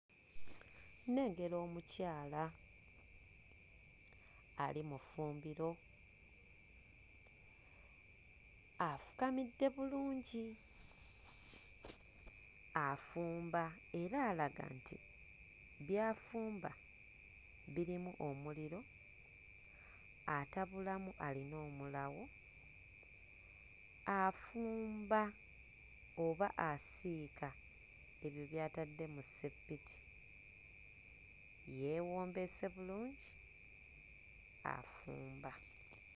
Nnengera omukyala ali mu ffumbiro. Afukamidde bulungi afumba era alaga nti by'afumba birimu omuliro, atabulamu alina omulawo. Afumba oba asiika ebyo by'atadde mu sseppiti. Yeewombeese bulungi afumba.